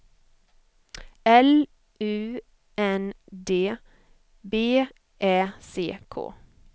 L U N D B Ä C K